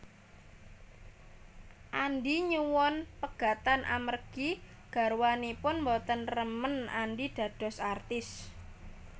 Andi nyuwun pegatan amargi garwanipun boten remen Andi dados artis